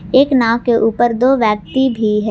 एक नाव के ऊपर दो व्यक्ति भी है।